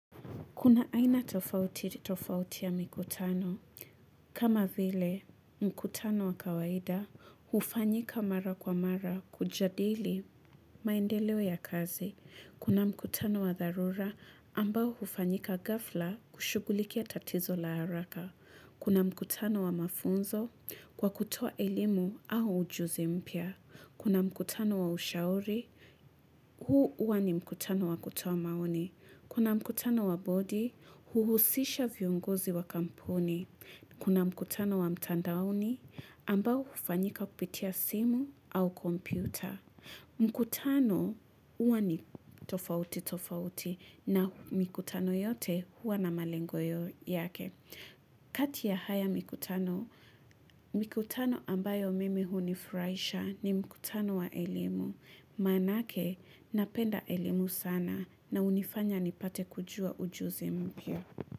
Kuna aina tofauti tofauti ya mikutano. Kama vile, mkutano wa kawaida hufanyika mara kwa mara kujadili maendeleo ya kazi. Kuna mkutano wa dharura ambao hufanyika ghafla kushugulikia tatizo la haraka. Kuna mkutano wa mafunzo kwa kutoa elimu au ujuzi mpya. Kuna mkutano wa ushauri, huu huwa ni mkutano wa kutoa maoni. Kuna mkutano wa bodi, huhusisha viongozi wa kampuni. Kuna mkutano wa mtandaoni, ambao hufanyika kupitia simu au kompyuta. Mkutano uwa ni tofauti tofauti na mikutano yote huwa na malengo yake. Kati ya haya mikutano, mikutano ambayo mimi hunifurahisha ni mkutano wa elimu. Maanake, napenda elimu sana na hunifanya nipate kujua ujuzi mpya.